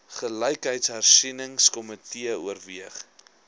gelykheidshersieningsko mitee oorweeg